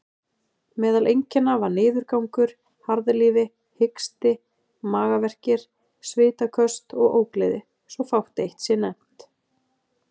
Meðal einkenna var niðurgangur, harðlífi, hiksti, magaverkir, svitaköst og ógleði, svo fátt eitt sé nefnt.